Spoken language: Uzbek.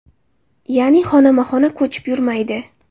Ya’ni xonama-xona ko‘chib yurmaydi.